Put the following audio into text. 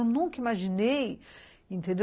Eu nunca imaginei, entendeu?